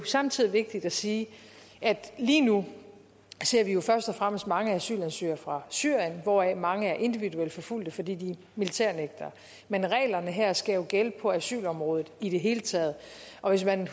samtidig vigtigt at sige at lige nu ser vi først og fremmest mange asylansøgere fra syrien hvoraf mange er individuelt forfulgte fordi de er militærnægtere men reglerne her skal gælde på asylområdet i det hele taget og hvis man